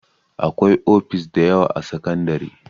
Akwai ofis dayawa a sakandare